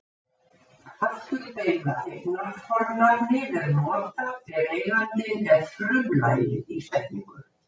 afturbeygða eignarfornafnið er notað ef eigandinn er frumlagið í setningu